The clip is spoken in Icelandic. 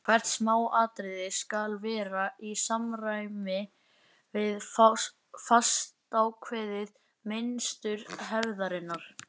Hvert smáatriði skal vera í samræmi við fastákveðið mynstur hefðarinnar.